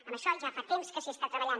en això ja fa temps que s’hi està treballant